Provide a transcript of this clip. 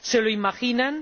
¿Se lo imaginan?